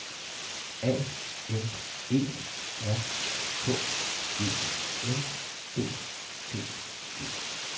A N E R K E N D T E